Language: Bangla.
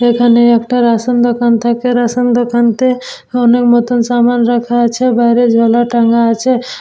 এইখানে একটা রেশন দোকান থাকে রেশন দোকান তে অনেক নতুন সামান রাখা আছে বাইরে ঝোলা টাঙ্গা আছে ।